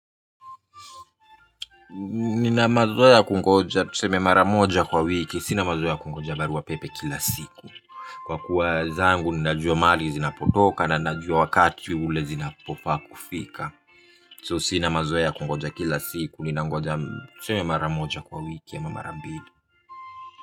Ninamazoea ya kungoja tuseme mara moja kwa wiki sina mazoea kungoja baruapepe kila siku. Kwa kuwa zangu ninajua mali zinapotoka na ninajua wakati ule zinapofaa kufika. So sinamazoea kungoja kila siku ninangoja tuseme mara moja kwa wiki ama mara mbili.